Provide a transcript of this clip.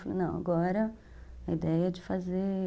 Falei, não, agora a ideia é de fazer...